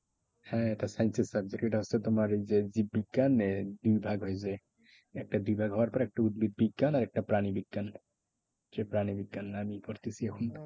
হ্যাঁ এটা science এর subject. এটা হচ্ছে তোমার এই যে জীব বিজ্ঞান এর দুই ভাগ হয়ে যায়। একটা বিভাগ হওয়ার পর একটা প্রাণী বিজ্ঞান আর একটা উদ্ভিদ বিজ্ঞান। সেই প্রাণী বিজ্ঞান